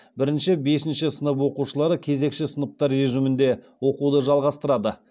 бірінші бесінші сынып оқушылары кезекші сыныптар режимінде оқуды жалғастырады